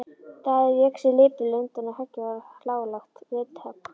Daði vék sér lipurlega undan og höggið varð hlálegt vindhögg.